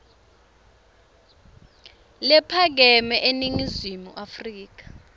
lephakeme eningizimu afrika